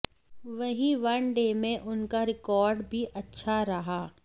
वहीं वनडे में उनका रिकॉर्ड भी अच्छा रहा